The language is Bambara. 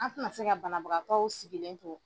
A tɛna se ka banabagatɔw sigilen to.